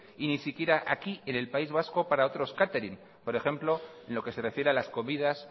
y ni siquiera aquí en el país vasco para otros catering por ejemplo a lo que se refiere a las comidas